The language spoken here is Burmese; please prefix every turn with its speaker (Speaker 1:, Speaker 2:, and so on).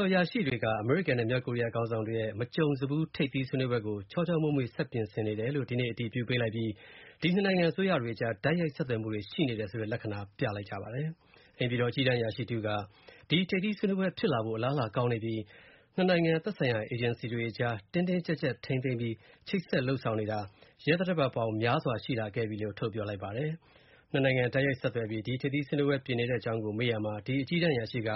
Speaker 1: ော်အရာရှိတွေက အမေရိကန်နဲ့ မြောက်ကိုရီးယားခေါင်းဆောင်တွေရဲ့ မကြုံစဖူး ထိပ်သီးဆွေးနွေးပွဲကို ချောချောမွေ့မွေ့ ဆက်ပြင်ဆင်နေတယ်လို့ ဒီနေ့ အတည်ပြုပေးလိုက်ပြီး၊ ဒီနှစ်နိုင်ငံအစိုးရတွေအကြား တိုက်ရိုက်ဆက်သွယ်မှုတွေရှိနေတယ်ဆိုတဲ့ လက္ခဏာပြသလိုက်ပါတယ်။ အိမ်ဖြူတော် အကြီးတန်းအရာရှိတဦးက ဒီထိပ်သီးဆွေးနွေးပွဲ ဖြစ်ဖို့အလားအလာကောင်းနေပြီး၊ နှစ်နိုင်ငံ သက်ဆိုင်ရာ အေဂျင်စီတွေအကြား တင်းတင်းကြပ်ကြပ်ထိန်းသိမ်းပြီး၊ ချိတ်ဆက်လုပ်ဆောင်နေတာ ရက်သတ္တပတ်ပေါင်း များစွာရှိလာခဲ့ပြီလို့ ထုတ်ပြောလိုက်ပါတယ်။ နှစ်နိုင်ငံတိုက်ရိုက်ဆက်သွယ်ပြီး ဒီထိပ်သီးပွဲပြင်နေတဲ့အကြောင်းကို မေးရာမှာ၊ ဒီအကြီးတန်းအရာရှိက